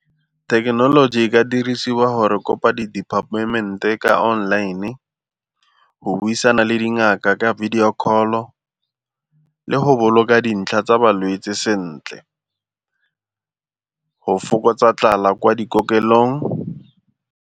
Thekenoloji e ka dirisiwa gore kopa di-department ka online e go buisana le dingaka ka video call-o le go boloka dintlha tsa balwetsi sentle, go fokotsa tlala kwa dikokelong.